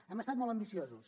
hem estat molt ambiciosos